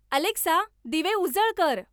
Alexa दिवे उजळ कर